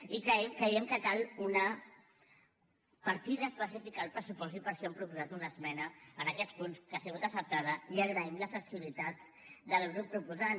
i creiem que cal una partida específica al pressupost i per això hem proposat una esmena en aquests punts que ha sigut acceptada i agraïm la flexibilitat del grup proposant